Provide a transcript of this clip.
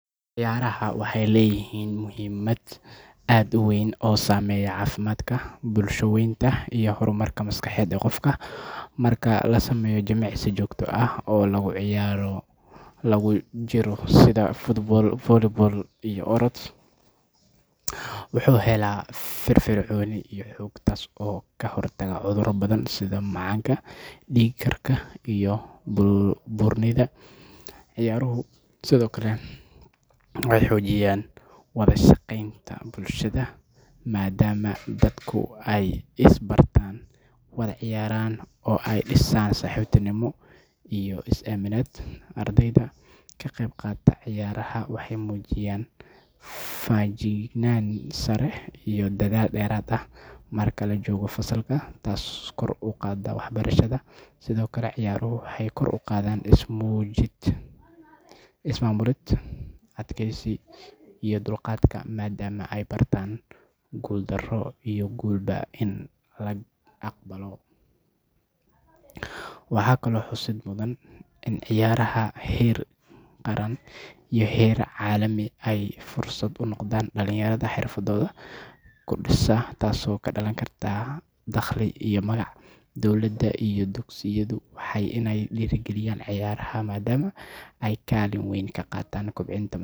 Ciyaaraha waxay leeyihiin muhiimad aad u weyn oo saameeya caafimaadka, bulsho-weynta, iyo horumarka maskaxeed ee qofka. Marka la sameeyo jimicsi joogto ah oo ciyaaro lagu jiro sida football, volleyball, ama orod, jidhka wuxuu helaa firfircooni iyo xoog, taas oo ka hortagta cudurro badan sida macaanka, dhiig-karka, iyo buurnida. Ciyaaruhu sidoo kale waxay xoojiyaan wadashaqeynta bulshada, maadaama dadku ay is bartaan, wada ciyaaraan, oo ay dhisaan saaxiibtinimo iyo is-aaminaad. Ardayda ka qeyb qaata ciyaaraha waxay muujiyaan feejignaan sare iyo dadaal dheeraad ah marka la joogo fasalka, taasoo kor u qaadda waxbarashada. Sidoo kale, ciyaaruhu waxay kor u qaadaan is-maamulid, adkeysiga, iyo dulqaadka maadaama ay bartaan guuldarro iyo guulba in la aqbalo. Waxaa kaloo xusid mudan in ciyaaraha heer qaran iyo heer caalami ay fursad u noqdaan dhalinyarada xirfadooda ka dhisa, taasoo ka dhalan karta dakhli iyo magac. Dowladda iyo dugsiyadu waa inay dhiirrigeliyaan ciyaaraha maadaama ay kaalin weyn ka qaataan kobcinta.